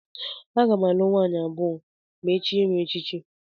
Aga m alụ nwaanyị abụọ ma e chie m echichi